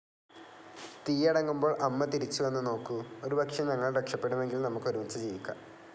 തീയടങ്ങുമ്പോൾ അമ്മ തിരിച്ചു വന്നു നോക്കൂ, ഒരുപക്ഷെ ഞങ്ങൾ രക്ഷപെടുമെങ്കിൽ നമുക്ക് ഒരുമിച്ചു ജീവിക്കാം.